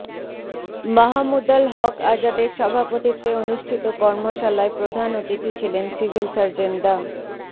মাহমুদুল হক আজাদের সভাপতিত্বে অনুষ্ঠিত কর্মশালায় প্রধান অতিথি ছিলেন সিভিল সার্জন ডা